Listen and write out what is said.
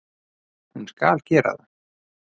Hún skal gera það.